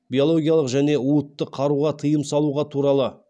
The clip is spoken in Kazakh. биологиялық және уытты қаруға тыйым салуға туралы